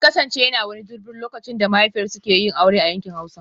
In kasance yana wani 'Durbar' lokacin da mahaifiyar suke yi aure a yankin Hausa